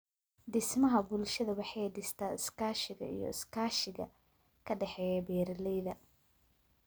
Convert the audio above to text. Dhismaha Bulshada Waxay dhistaa iskaashiga iyo iskaashiga ka dhexeeya beeralayda.